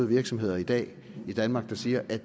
virksomheder i dag i danmark der siger